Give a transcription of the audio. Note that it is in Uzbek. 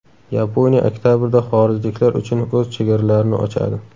Yaponiya oktabrda xorijliklar uchun o‘z chegaralarini ochadi.